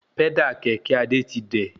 Pẹ́dà kẹ̀kẹ́ Adé ti dẹ̀